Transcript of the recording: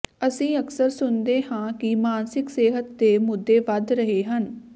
ਅਸੀਂ ਅਕਸਰ ਸੁਣਦੇ ਹਾਂ ਕਿ ਮਾਨਸਿਕ ਸਿਹਤ ਦੇ ਮੁੱਦੇ ਵਧ ਰਹੇ ਹਨ